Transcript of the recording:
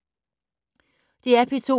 DR P2